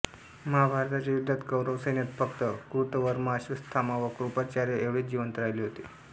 महाभारताच्या युद्धात कौरव सैन्यात फक्त कृतवर्मा अश्वथामा व कृपाचार्य एवढेच जिवंत राहिले होते